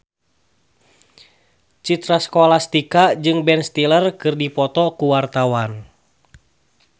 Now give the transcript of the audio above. Citra Scholastika jeung Ben Stiller keur dipoto ku wartawan